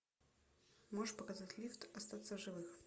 можешь показать лифт остаться в живых